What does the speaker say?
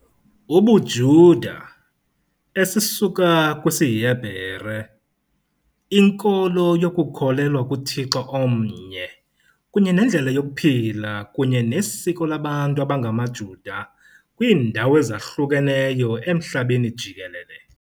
UbuJuda esisuka kwisiHebhereu, nkolo yokukholelwa kuThixo omnye kunye nendlela yokuphila kunye nesiko labantu abangamaJuda kwiindawo ezahlukeneyo emhlabeni jikelele.